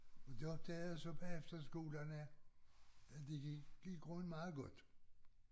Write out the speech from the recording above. Og det opdagede jeg så bagefter skolen at at det gik i grunden meget godt